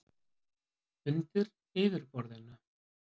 „undir yfirborðinu“